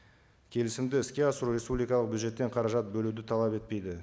келісімді іске асыру республикалық бюджеттен қаражат бөлуді талап етпейді